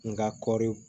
N ka kɔɔri